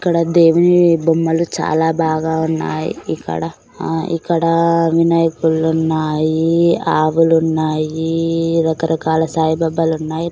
ఇక్కడ దేవుని బొమ్మలు చాలా బాగా ఉన్నాయి ఇక్కడ ఆ ఇక్కడ వినాయకుళ్ళు ఉన్నాయి ఆవులు ఉన్నాయి రకరకాల సాయిబాబాలు ఉన్నాయి.